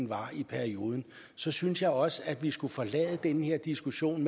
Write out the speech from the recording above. var i perioden så synes jeg også at vi skulle forlade den her diskussion